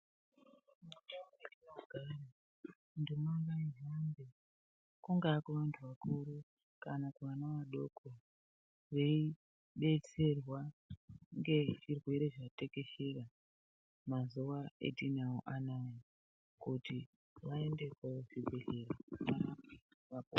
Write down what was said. Mundau matinogara nduma ngaihambe kunga kuanhu akuru kana kuana adoko veidetserwa nezvirwere zvatekeshera mazuwa atinawo anaya kuti vaende kuzvibhedhlera varapwe vapone.